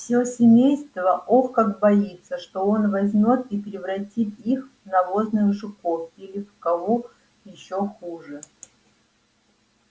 все семейство ох как боится что он возьмёт и превратит их в навозных жуков или в кого ещё хуже